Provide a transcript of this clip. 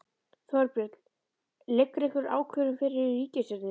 Þorbjörn: Liggur einhver ákvörðun fyrir í ríkisstjórninni?